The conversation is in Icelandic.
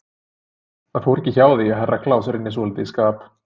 Það fór ekki hjá því að Herra Kláus rynni svolítið í skap.